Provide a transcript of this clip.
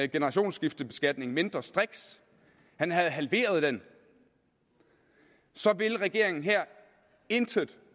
generationsskiftebeskatningen mindre striks han havde halveret den vil regeringen intet